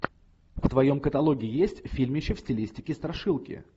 в твоем каталоге есть фильмище в стилистике страшилки